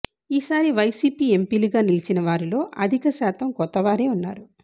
ఈ సారి వైసీపీ ఎంపీలుగా గెలిచిన వారిలో అధిక శాతం కొత్త వారే ఉన్నారు